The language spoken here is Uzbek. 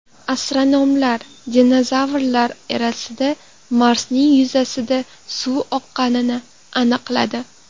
Astronomlar dinozavrlar erasida Marsning yuzasida suv oqqanini aniqladi.